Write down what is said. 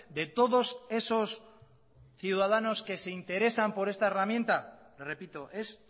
de todos esos ciudadanos que se interesan por esta herramienta repito es